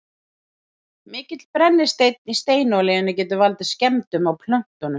mikill brennisteinn í steinolíunni getur valdið skemmdum á plöntunum